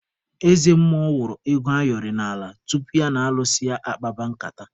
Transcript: Eze mmụọ wụrụ ego ayọrị n'ala tupu ya na alụsị ya akpaba nkata.